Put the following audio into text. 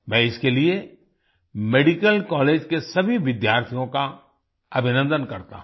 मैं इसके लिए मेडिकल कॉलेज के सभी विद्यार्थियों का अभिनन्दन करता हूँ